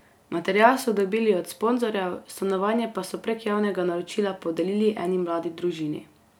Material so dobili od sponzorjev, stanovanje pa so prek javnega naročila podelili eni mladi družini.